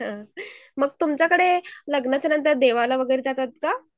मग तुमच्याकडे लग्नाच्यानंतर देवाला वगैरे जातात का?